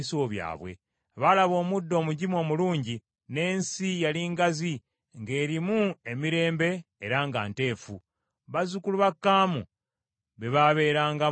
Baalaba omuddo omugimu omulungi, n’ensi yali ngazi, ng’erimu emirembe era nga nteefu. Bazzukulu ba Kaamu be baaberangamu edda.